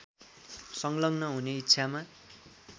सङ्लग्न हुने इच्छामा